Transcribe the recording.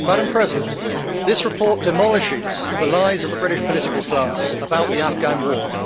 Madam President, this report demolishes the lies of the British political class about the Afghan War.